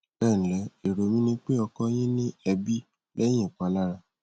ẹ ǹlẹ èrò mi ni pé ọkọ yín ní èébì lẹyìn ìpalára